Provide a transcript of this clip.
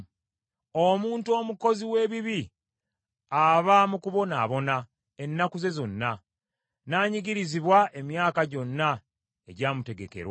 Omuntu omukozi w’ebibi, aba mu kubonaabona ennaku ze zonna, n’anyigirizibwa emyaka gyonna egyamutegekerwa.